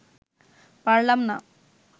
পারলাম না